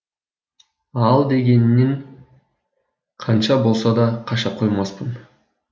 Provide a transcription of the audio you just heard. ал дегенінен қанша болса да қаша қоймаспын